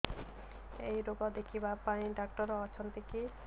ଏଇ ରୋଗ ଦେଖିବା ପାଇଁ ଡ଼ାକ୍ତର ଅଛନ୍ତି କି